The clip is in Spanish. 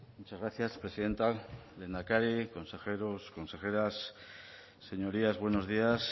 muchas gracias presidenta lehendakari consejeros consejeras señorías buenos días